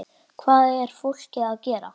Hvað er fólk að gera?